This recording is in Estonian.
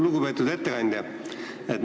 Lugupeetud ettekandja!